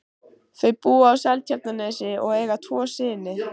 Þau búa á Seltjarnarnesi og eiga tvo syni.